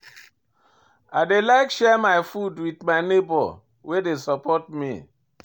I dey like share my food wit my nebor wey dey support me.